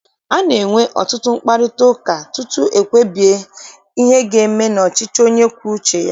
A na-enwe ọtụtụ mkparịtaụka tutu ekwubie ihe aga eme n'ọchịchị onye kwue uche ya.